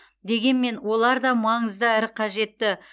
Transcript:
дегенмен олар да маңызды әрі қажетті